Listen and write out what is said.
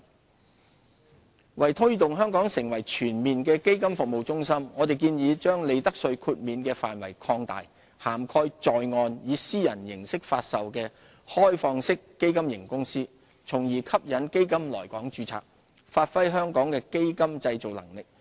基金業為推動香港成為全面的基金服務中心，我們建議把利得稅豁免的範圍擴大，涵蓋在岸以私人形式發售的開放式基金型公司，從而吸引基金來港註冊，發揮香港的基金製造能力。